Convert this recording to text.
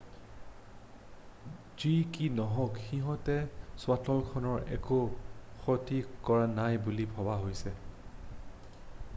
যি কি নহওক সিহঁতে শ্বাটলখনৰ একো ক্ষতি কৰা নাই বুলি ভবা হৈছে